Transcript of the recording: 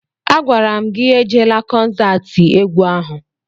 A gwara m gị ejela kọnsatị egwu ahụ!